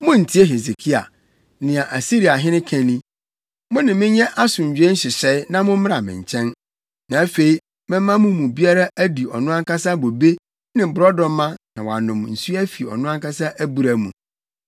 “Munntie Hesekia. Nea Asiriahene ka ni: Mo ne me nyɛ asomdwoe nhyehyɛe na mommra me nkyɛn. Na afei, mɛma mo mu biara adi ɔno ankasa bobe ne borɔdɔma na woanom nsu afi ɔno ankasa abura mu,